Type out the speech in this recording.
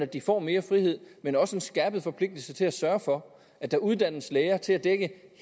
de får mere frihed men også en skærpet forpligtelse til at sørge for at der uddannes lærere til at dække